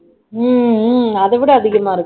உம் உம் அதை விட அதிகமா இருக்கு